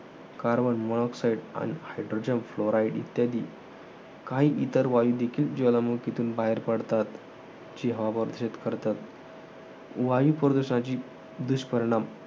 carbon monoxide आणि hydrogen fluoride इत्यादी काही इतर वायू देखील ज्वालामुखीतून बाहेर पडतात. जी हवा प्रदूषित करतात. वायूप्रदूषणाचे दुष्परिणाम.